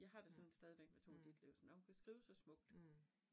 Mh, mh, mh